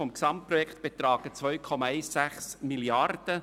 Im Gesamten kostet das Projekt 2,16 Mrd. Franken.